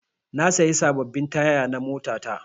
Na sayi sababbin taya na mota ta